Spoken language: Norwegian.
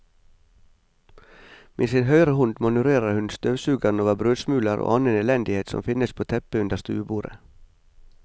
Med sin høyre hånd manøvrerer hun støvsugeren over brødsmuler og annen elendighet som finnes på teppet under stuebordet.